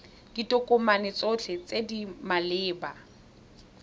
ditokomane tsotlhe tse di maleba